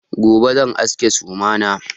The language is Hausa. Gobe zan aske suma na.